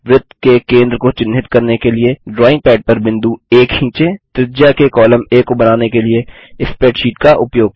वृत्त के केंद्र को चिन्हित करने के लिए ड्राइंग पैड पर बिंदु आ खींचें त्रिज्या के कॉलम आ को बनाने के लिए स्प्रैडशीट का उपयोग करें